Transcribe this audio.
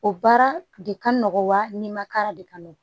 O baara de ka nɔgɔ wa ni ma kara de ka nɔgɔn